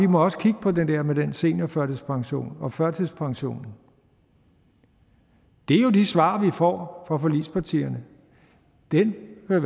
må kigge på det der med den seniorførtidspension og førtidspensionen det er jo de svar vi får fra forligspartierne den hvad